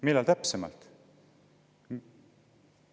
Millal täpsemalt?